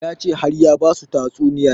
Ya ce har ya basu tatsuniyar